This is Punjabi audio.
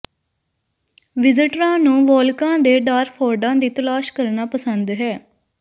ਵਿਜ਼ਟਰਾਂ ਨੂੰ ਵੋਲਕਾ ਦੇ ਡਾਰਫੋਰਡਾਂ ਦੀ ਤਲਾਸ਼ ਕਰਨਾ ਪਸੰਦ ਹੈ